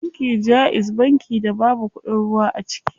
Banki jaiz banki da babu kuɗin ruwa a ciki.